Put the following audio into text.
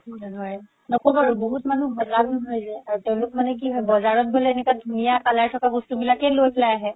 সেইটো হয় নক'বা আৰু বহুত মানুহ বুজাব নোৱাৰি যে আৰু তেওলোক মানে কি হয় বজাৰত বোলে এনেকুৱা color থাকা বস্তু বিলাকে লই পেলাই আহে